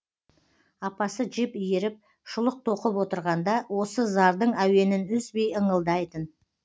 апасы жіп иіріп шұлық тоқып отырғанда осы зардың әуенін үзбей ыңылдайтын